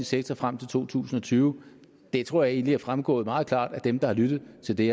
sektor frem til to tusind og tyve det tror jeg egentlig er fremgået meget klart for dem der har lyttet til det